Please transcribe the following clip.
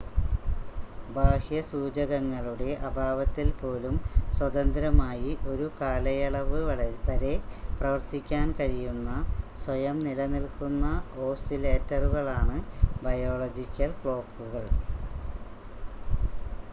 ബാഹ്യ സൂചകങ്ങളുടെ അഭാവത്തിൽ പോലും സ്വതന്ത്രമായി ഒരു കാലയളവ് വരെ പ്രവർത്തിക്കാൻ കഴിയുന്ന സ്വയം നിലനിൽക്കുന്ന ഓസിലേറ്ററുകളാണ് ബയോളജിക്കൽ ക്ലോക്കുകൾ